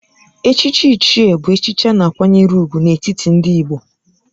Echichi Ichie bụ echichi a na-akwanyere ùgwù n'etiti ndị Igbo